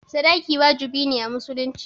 sadaki wajibi ne a musulunci